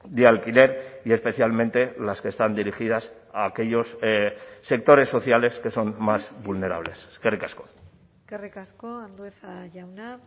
de alquiler y especialmente las que están dirigidas a aquellos sectores sociales que son más vulnerables eskerrik asko eskerrik asko andueza jauna